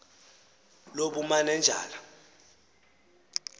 lobumanenjala